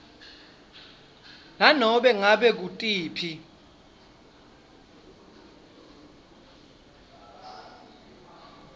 nanobe ngabe ngutiphi